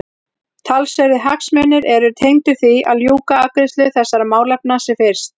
Talsverðir hagsmunir eru tengdir því að ljúka afgreiðslu þessara málefna sem fyrst.